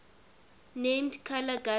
named carla guzman